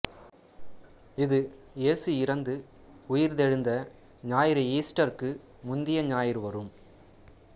இது இயேசு இறந்து உயிர்த்தெழுந்த ஞாயிறு ஈஸ்டர் க்கு முந்திய ஞாயிறு வரும்